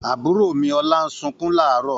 Àbúrò obìnrin Ọlá ń sunkún láàárọ̀.